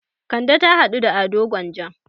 Kande ta haɗu da Ado Gwanja.